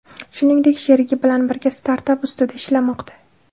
Shuningdek, sherigi bilan birga startap ustida ishlamoqda.